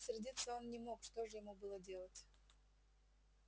сердиться он не мог что же ему было делать